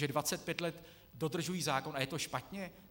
Že 25 let dodržují zákon a je to špatně?